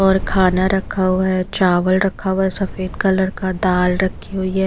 और खाना रखा हुआ है चावल रखा हुआ है सफेद कलर का दाल रखी हुई है।